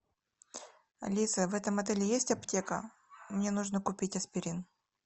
алиса в этом отеле есть аптека мне нужно купить аспирин